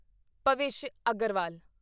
Bhavish Aggarwal